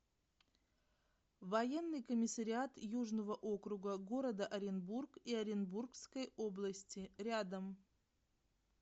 военный комиссариат южного округа г оренбург и оренбургской области рядом